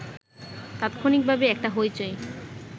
তাৎক্ষণিকভাবে একটা হইচই